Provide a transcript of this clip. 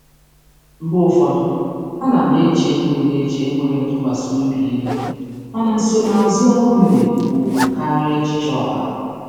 Mgbe ụfọdụ, ana m eche enweghị eche enweghị ntụkwasị obi ihu, mana nsonaazụ ọrụ m na-ekwu okwu karịa echiche ọha.